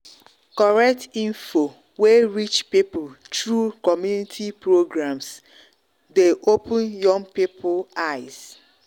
correct info wey reach people through through community programs dey open young people eyes.